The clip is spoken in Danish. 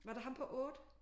Var det ham på 8?